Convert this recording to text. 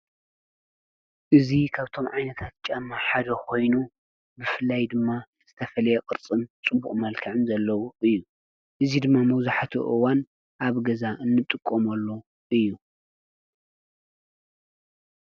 እዙ ኻብቶም ዓይነታት ጫማ ሓደ ኾይኑ ብፍላይ ድማ ዝተፈልየ ቝርጽም ጽቡቕ መልካዕም ዘለዉ እዩ እዙ ድማ መውዙሕቲ ኦዋን ኣብ ገዛ እንጥቆመሉ እዩ።